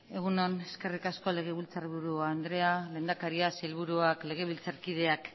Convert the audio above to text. egun on eskerrik asko legebiltzarburu andrea lehendakaria sailburuak legebiltzarkideak